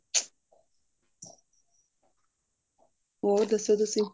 ਹੋਏ ਦੱਸੋ ਤੁਸੀਂ